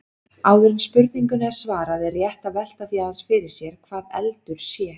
Áður en spurningunni er svarað er rétt að velta því aðeins sér hvað eldur sé.